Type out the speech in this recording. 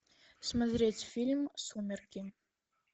смотреть фильм сумерки